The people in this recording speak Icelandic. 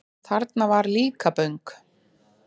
Það var Líkaböng.